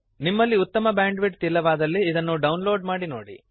ನಿಮಲ್ಲಿ ಉತ್ತಮ ಬ್ಯಾಂಡ್ವಿಡ್ತ್ ಇಲ್ಲವಾದಲ್ಲಿ ಇದನ್ನು ಡೌನ್ ಲೋಡ್ ಮಾಡಿ ನೋಡಿ